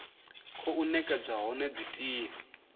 khou nekedzwa hone dzi tea